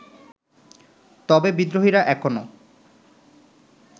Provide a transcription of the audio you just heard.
তবে বিদ্রোহীরা এখনো